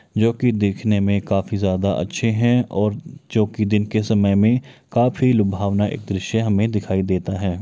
जो कि देखने में काफी ज्यादा अच्छे हैं और जो कि दिन के समय में काफी लुभावना एक दृश्य हमें दिखाई देता है।